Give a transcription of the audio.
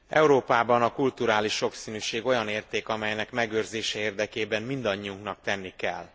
Európában a kulturális sokszínűség olyan érték, amelynek megőrzése érdekében mindannyiunknak tenni kell.